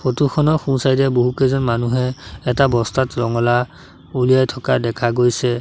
ফটোখনৰ সোঁছাইডে বহুকেইজন মানুহে এটা বস্তাত ৰঙালাও উলিয়াই থকা দেখা গৈছে।